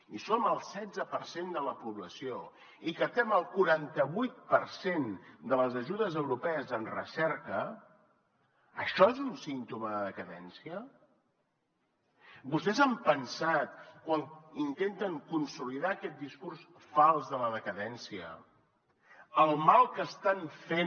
si som el setze per cent de la població i captem el quaranta vuit per cent de les ajudes europees en recerca això és un símptoma de decadència vostès han pensat quan intenten consolidar aquest discurs fals de la decadència el mal que estan fent